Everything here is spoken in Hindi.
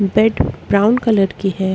बैड ब्राउन कलर की है।